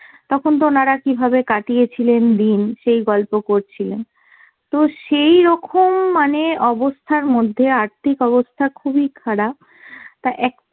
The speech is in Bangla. তখন তো ওনারা কীভাবে কাটিয়েছিলেন দিন সেই গল্প করছিলেন। তো সেইরকম মানে অবস্থার মধ্যে, আর্থিক অবস্থা খুবই খারাপ, তা এক